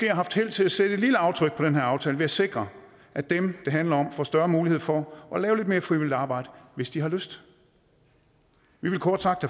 haft held til at sætte et lille aftryk på den her aftale ved at sikre at dem det handler om får større mulighed for at lave lidt mere frivilligt arbejde hvis de har lyst vi ville kort sagt